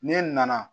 Ne nana